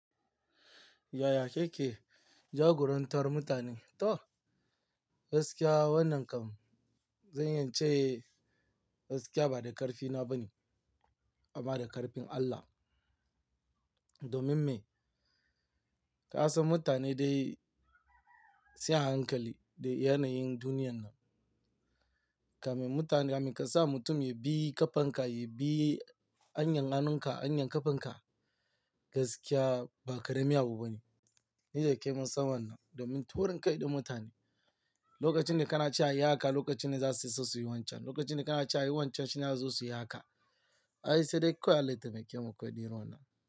Yaya ke ke jagorantar mutane? To, gaskiya wannan kam, zan yi ce gaskiya ba da ƙarfi na ba ne amma da ƙarfin Allah. Domin me? Ka san mutane dai sai a hankali da yanayin duniyan nan. Ka mai mutane, ka mun kasa mutum ya bi ƙafan ka, ya bi hanyan hannun ka, hanyan ƙafan ka, gaskiya ba karami abu bane. Ni da ke mun san wannan, domin taurin kai da mutane, lokacin da kana cewa ayi haka, lokacin ne za su yi so su yi wancan. Lokacin da kana cewa yi wancan shine za su yi haka. Ai sai dai kawai Allah ya taimake mu irin wannan.